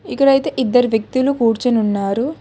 ఇక్కడైతే ఇద్దరు వ్యక్తులు కూర్చుని ఉన్నారు.